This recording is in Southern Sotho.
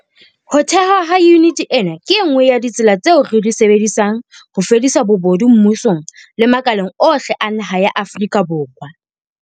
Ho thehwa ha yuniti ena ke e nngwe ya ditsela tseo re di sebedisang ho fedisa bobodu mmusong le makaleng ohle a naha ya Afrika Borwa.